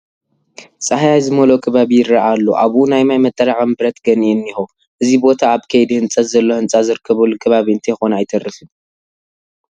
ፃህያይ ዝመልኦ ከባቢ ይርአ ኣሎ፡፡ ኣብኡ ናይ ማይ መጠራቐሚ ብረት ገንኢ እኒሀ፡፡ እዚ ቦታ ኣብ ከይዲ ህንፀት ዘሎ ህንፃ ዝርከበሉ ከባቢ እንተይኮነ ኣይተርፍን፡፡